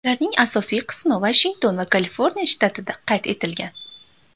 Ularning asosiy qismi Vashington va Kaliforniya shtatida qayd etilgan.